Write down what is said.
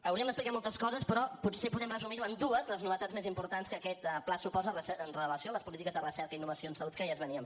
hauríem d’explicar moltes coses però potser podem resumir ho en dues les novetats més importants que aquest pla suposa amb relació a les polítiques de recerca i innovació en salut que ja es feien